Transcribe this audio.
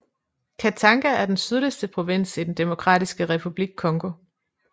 Katanga er den sydligste provins i den Demokratiske Republik Congo